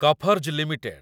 କଫର୍‌ଜ୍‌ limited